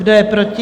Kdo je proti?